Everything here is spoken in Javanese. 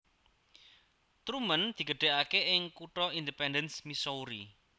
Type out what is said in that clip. Truman digedhekake ing kutha Independence Missouri